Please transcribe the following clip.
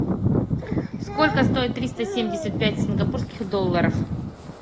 сколько стоит триста семьдесят пять сингапурских долларов